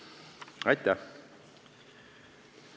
Aitäh!